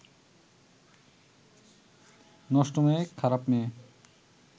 নষ্ট মেয়ে, খারাপ মেয়ে